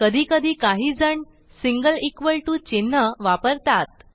कधीकधी काहीजणsingle equal to चिन्ह वापरतात